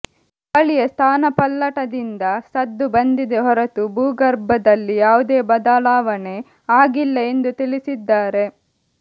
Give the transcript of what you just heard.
ಗಾಳಿಯ ಸ್ಥಾನಪಲ್ಲಟದಿಂದ ಸದ್ದು ಬಂದಿದೆ ಹೊರತು ಭೂಗರ್ಭದಲ್ಲಿ ಯಾವುದೇ ಬದಲಾವಣೆ ಆಗಿಲ್ಲ ಎಂದು ತಿಳಿಸಿದ್ದಾರೆ